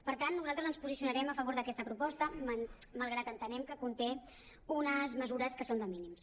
per tant nosaltres ens posicionarem a favor d’aquesta proposta malgrat que entenem que conté unes mesures que són de mínims